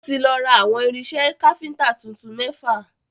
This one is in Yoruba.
Ó ti lọ ra awọ̀n irinṣẹ́ káfíntà tuntun mẹ́fà.